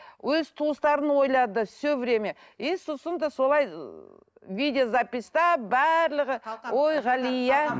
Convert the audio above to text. өз туыстарын ойлады все время и сосын да солай ы видеозаписьта барлығы ой ғалия